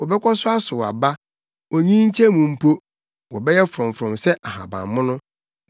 Wɔbɛkɔ so asow aba, onyinkyɛ mu mpo, wɔbɛyɛ frɔmfrɔm sɛ ahabammono,